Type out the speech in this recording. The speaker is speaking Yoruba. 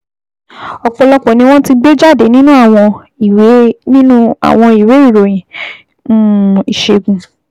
Ọ̀pọ̀lọpọ̀ ni wọ́n ti gbé jáde nínú àwọn ìwé nínú àwọn ìwé ìròyìn um ìṣègùn